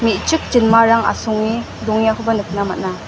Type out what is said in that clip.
me·chik jinmarang asonge dongengakoba nikna man·a.